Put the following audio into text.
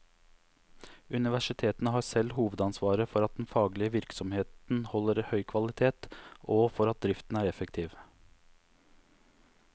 Universitetene har selv hovedansvaret for at den faglige virksomheten holder høy kvalitet, og for at driften er effektiv.